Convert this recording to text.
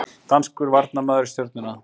Danskur varnarmaður í Stjörnuna